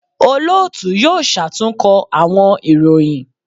Olootu yoo ṣatunkọ awọn iroyin